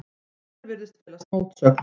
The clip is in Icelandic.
Hér virðist felast mótsögn.